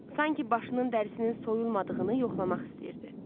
Sanki başının dərisinin soyulmadığını yoxlamaq istəyirdi.